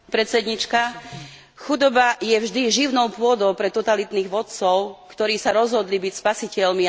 Chudoba je vždy živnou pôdou pre totalitných vodcov, ktorí sa rozhodli byť spasiteľmi a zachrániť svoj ľud.